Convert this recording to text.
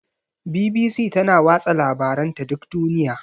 BBC tana watsa labaranta duk duniya.